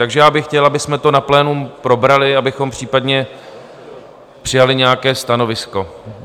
Takže já bych chtěl, abychom to na plénu probrali, abychom případně přijali nějaké stanovisko.